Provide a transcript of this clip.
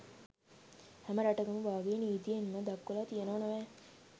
හැම රටකම වාගේ නිතීයෙන්ම දක්වලා තියෙනවා නොවැ